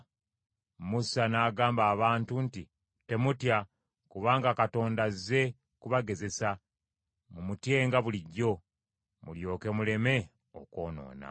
Musa n’agamba abantu nti, “Temutya, kubanga Katonda azze kubagezesa, mumutyenga bulijjo, mulyoke muleme okwonoona.”